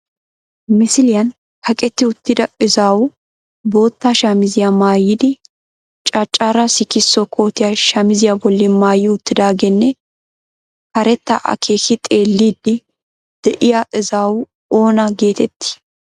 Misiliyan kaqetti uttida izaawu bootta shamiziya maayidi caccara sikisso kootiya shamiziya bolli maayi uttidaageenne karetta akeeki xeelliddi de'iya izaawu oona geetettii?